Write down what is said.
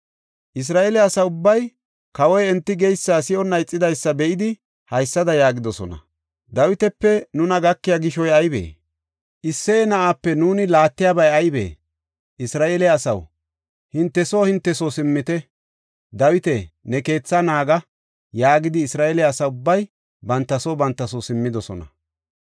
Isra7eele asa ubbay kawoy enti geysa si7onna ixidaysa be7idi haysada yaagidosona; “Dawitape nuna gakiya gishoy aybee? Isseye na7aape nuuni laattiyabay aybee? Isra7eele asaw, hinte soo hinte soo simmite. Dawita, ne keethaa naaga” yaagidi, Isra7eele asa ubbay banta soo banta soo simmidosona.